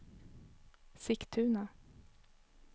Sigtuna